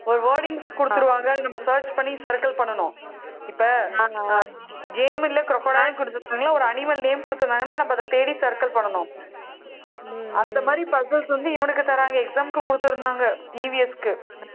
ஒரு wordings குடுத்துருவாங்கன்னு நம்ம search பண்ணி circle பண்ணணும். இப்ப game ல crocodile ஒரு animal name குடுத்திருந்தாங்கன்னா, நம்ம அதைத் தேடி circle பண்ணணும். அந்த மாதிரி puzzles வந்து, இவனுக்கு தர்றாங்க, exam க்கு குடுத்திருந்தாங்க EVS க்கு